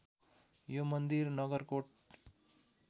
यो मन्दिर नगरकोट